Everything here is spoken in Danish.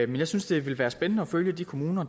jeg synes det vil være spændende at følge de kommuner